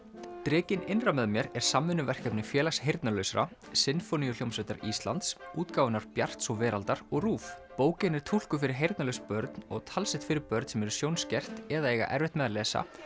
drekinn innra með mér er samvinnuverkefni Félags heyrnarlausra Sinfóníuhljómsveitar Íslands útgáfunnar Bjarts og Veraldar og RÚV bókin er túlkuð fyrir heyrnarlaus börn og talsett fyrir börn sem eru sjónskert eða eiga erfitt með að lesa